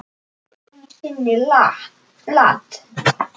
Ekki einu sinni Lat.